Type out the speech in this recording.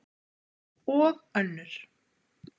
Og önnur.